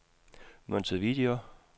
Montevideo